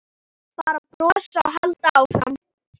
Bara brosa og halda áfram.